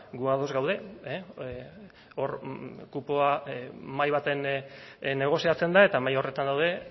gu ados gaude hor kupoa mahai baten negoziatzen da eta mahai horretan gaude